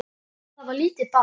Og það var lítið barn.